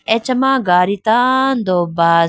achama gadi tando bus .